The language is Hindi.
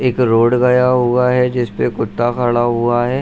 एक रोड गया हुआ है जिसपे कुत्ता खड़ा हुआ है।